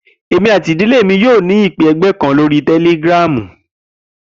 Emi ati idile mi yoo ni ipe ẹgbẹ kan lori Telegram.